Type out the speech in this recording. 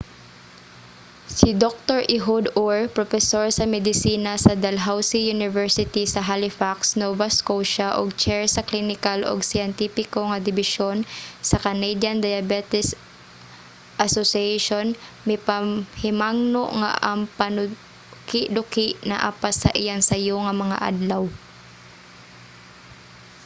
si dr. ehud ur propesor sa medisina sa dalhousie university sa halifax nova scotia ug chair sa klinikal ug siyentipiko nga dibisyon sa canadian diabetes association mipahimangno nga ang panukiduki naa pa sa iyang sayo nga mga adlaw